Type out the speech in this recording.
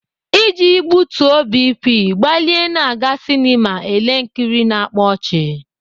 Iji butuo BP, gbalịa na-aga sinema ele nkiri na-akpa ọchị.